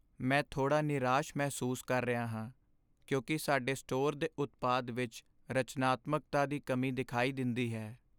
ਮੈਂ ਥੋੜ੍ਹਾ ਨਿਰਾਸ਼ ਮਹਿਸੂਸ ਕਰ ਰਿਹਾ ਹਾਂ ਕਿਉਂਕਿ ਸਾਡੇ ਸਟੋਰ ਦੇ ਉਤਪਾਦ ਵਿੱਚ ਰਚਨਾਤਮਕਤਾ ਦੀ ਕਮੀ ਦਿਖਾਈ ਦਿੰਦੀ ਹੈ।